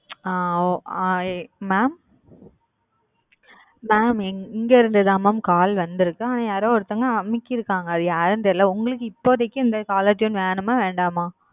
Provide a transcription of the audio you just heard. mam இங்க இருந்து mam call வந்து இருக்கு அனா யாரோ ஒருத்தவங்க அழுத்தி இருக்காங்க யாருனு தெரியல உங்களுக்கு இப்போதைக்கு இந்த caller tune வேணுமா வேணாமா